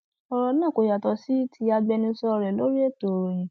ọrọ náà kò yàtọ sí ti agbẹnusọ rẹ lórí ètò ìròyìn